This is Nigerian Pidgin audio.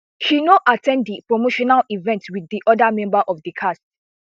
she no at ten d di promotional events wit di oda members of di cast